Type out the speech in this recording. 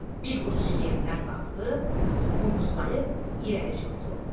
Bir qoç iş yerindən qalxdı, buynuzlayıb irəli cumdu.